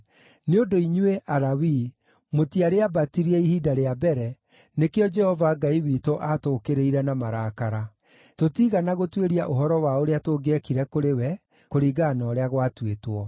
Nĩ ũndũ inyuĩ, Alawii, mũtiarĩambatirie ihinda rĩa mbere, nĩkĩo Jehova Ngai witũ aatũũkĩrĩire na marakara. Tũtiigana gũtuĩria ũhoro wa ũrĩa tũngĩekire kũrĩ we, kũringana na ũrĩa gwatuĩtwo.”